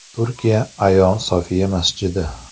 Turkiya Ayo Sofiya masjidi.